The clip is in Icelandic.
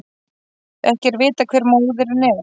Ekki er vitað hver móðirin er